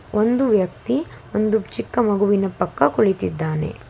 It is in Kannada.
ಒಂದು ವ್ಯಕ್ತಿ ಒಂದು ಚಿಕ್ಕ ಮಗುವಿನ ಪಕ್ಕ ಕುಳಿತಿದ್ದಾನೆ.